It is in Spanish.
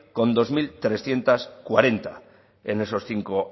con dos mil trescientos cuarenta en esos cinco